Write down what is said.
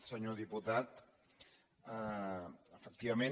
senyor diputat efectivament